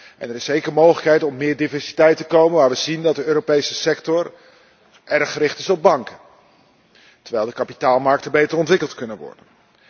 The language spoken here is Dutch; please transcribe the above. En het is zeker mogelijk tot meer diversiteit te komen waar we zien dat de Europese sector erg gericht is op banken, terwijl de kapitaalmarkten beter ontwikkeld kunnen worden.